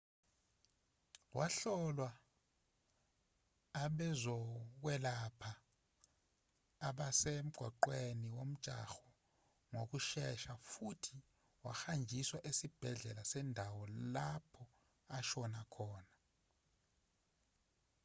wahlolwa abezokwelapha abasemgaqweni womjaho ngokushesha futhi wahanjiswa esibhedlela sendawo lapho ashona khona